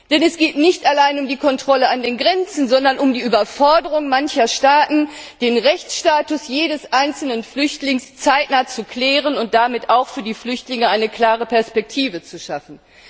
Denn es geht nicht allein um die Kontrolle an den Grenzen, sondern um die Überforderung mancher Staaten, den Rechtsstatus jedes einzelnen Flüchtlings zeitnah zu klären und damit auch für die Flüchtlinge eine klare Perspektive zu schaffen.